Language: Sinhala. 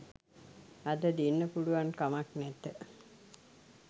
අද දෙන්න පුළුවන් කමන් නැත.